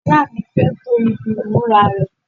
ìyá mi fẹ́ to ibi ìmúra rẹ̀